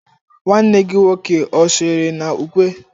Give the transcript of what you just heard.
nwanne gi nwoke o sonyere na ukwe?